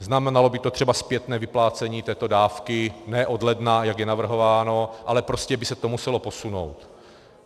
Znamenalo by to třeba zpětné vyplácení této dávky ne od ledna, jak je navrhováno, ale prostě by se to muselo posunout.